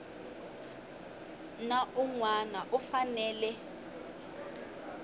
na un wana u fanele